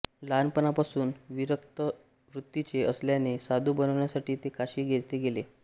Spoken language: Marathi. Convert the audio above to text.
लहानपणापासून विरक्त वृत्तीचे असल्याने साधू बनण्यासाठी ते काशी येथे गेले